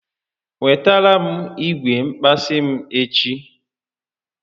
Wetara m igwe nkpazi m echi